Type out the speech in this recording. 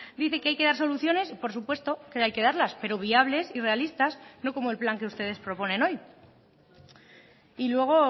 dice que hay que dar soluciones y por supuesto que hay que darlas pero viables y realistas no como el plan que ustedes proponen hoy y luego